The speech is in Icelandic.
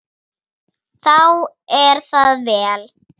Þá er það vel.